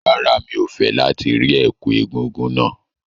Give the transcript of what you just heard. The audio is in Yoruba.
Rárá, mi ò fẹ́ láti rí ẹ̀kú egúngún náà.